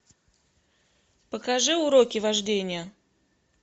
покажи уроки вождения